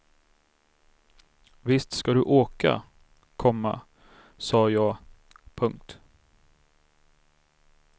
Visst ska du åka, komma sa jag. punkt